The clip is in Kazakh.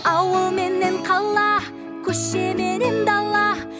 ауыл менен қала көше менен дала